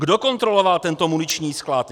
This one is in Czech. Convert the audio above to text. Kdo kontroloval tento muniční sklad?